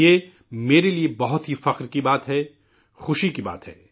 یہ میرے لیے بہت ہی فخر کا باعث ہے، خوشی کا باعث ہے